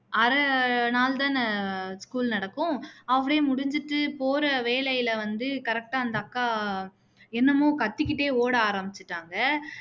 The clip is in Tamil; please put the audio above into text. அரை நாள் தானே school நடக்கும் half day முடிஞ்சுட்டு போற வேலையில வந்து correct ஆ அந்த அக்கா என்னமோ கத்திக்கிட்டே ஓட ஆரமிச்சுட்டாங்க